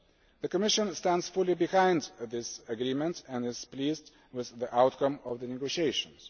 The Commission stands fully behind this agreement and is pleased with the outcome of the negotiations.